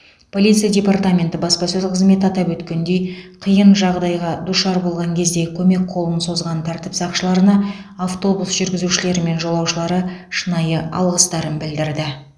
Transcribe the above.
полиция департаменті баспасөз қызметі атап өткендей қиын жағдайға душар болған кезде көмек қолын созған тәртіп сақшыларына автобус жүргізушілері мен жолаушылары шынайы алғыстарын білдірді